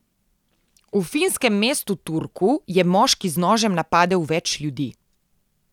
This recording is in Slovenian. V finskem mestu Turku je moški z nožem napadel več ljudi.